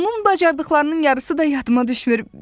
Onun bacardıqlarının yarısı da yadıma düşmür.